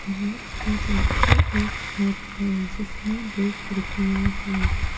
तालाब के पीछे एक घर है जिसमें दो खिड़कियां है।